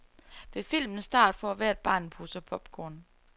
Ved filmens start får hvert barn en pose popcorn.